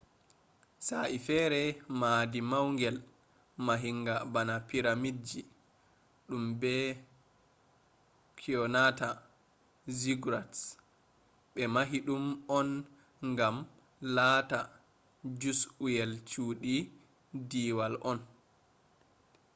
sa'e feere mahdi maungel mahinga bana piramidji ɗum be kyonata ziggurats ɓe mahi ɗum on ngam lata jus'uyel cuuɗi deewal on